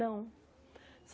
Não.